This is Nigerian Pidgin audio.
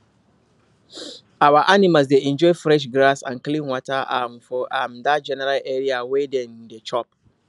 our animal dey enjoy fresh grass and clean water um for um that general area wey dem dey chop